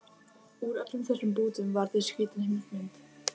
Úr öllum þessum bútum varð til skrýtin heimsmynd